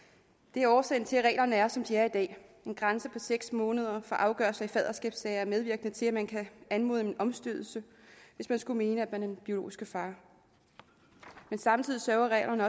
det er årsagen til at reglerne er som de er i dag en grænse på seks måneder for afgørelse af faderskabssager er medvirkende til at man kan anmode om en omstødelse hvis man skulle mene at man er den biologiske far men samtidig sørger reglerne